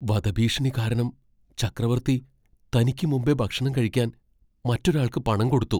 വധഭീഷണി കാരണം ചക്രവർത്തി തനിക്ക് മുമ്പേ ഭക്ഷണം കഴിക്കാൻ മറ്റൊരാൾക്ക് പണം കൊടുത്തു.